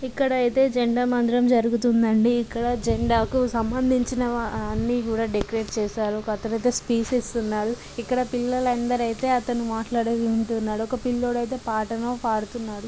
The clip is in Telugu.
ఇక్కడ ఐతే జెండా వందనం జరుగుతుందండి. ఇక్కడ జెండాకు సంబందించిన అన్ని కూడా డెకరేషన్ చేసారు. పక్కన ఐతే స్పీచ్ ఇస్తున్నాడు. ఇక్కడ పిల్లలందరూ ఐతే అతను మాట్లాడేది వింటున్నారు. ఒక పిల్లోడు ఐతే పాటను పాడుతున్నాడు.